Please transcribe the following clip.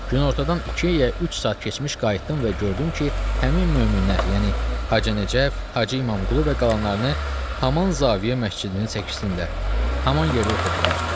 Günortadan iki ya üç saat keçmiş qayıtdım və gördüm ki, həmin möminlər, yəni Hacı Nəcəf, Hacı İmamqulu və qalanlarını haman Zavyə məscidinin çəkisində haman yerdə oturdublar.